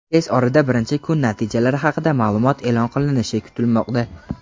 Tez orada birinchi kun natijalari haqida ma’lumot e’lon qilinishi kutilmoqda.